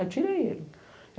Aí tirei ele.